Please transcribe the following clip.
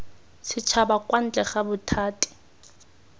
setšhaba kwa ntle ga bothati